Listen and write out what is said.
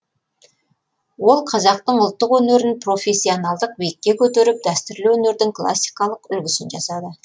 ол қазақтың ұлттық өнерін профессионалдық биікке көтеріп дәстүрлі өнердің классикалық үлгісін жасады